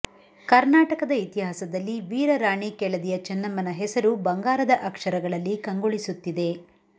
ಕರ್ನಾಟಕದ ಇತಿಹಾಸದಲ್ಲಿ ವೀರರಾಣಿ ಕೆಳದಿಯ ಚೆನ್ನಮ್ಮನ ಹೆಸರು ಬಂಗಾರದ ಅಕ್ಷರಗಳಲ್ಲಿ ಕಂಗೊಳಿಸುತ್ತಿದೆ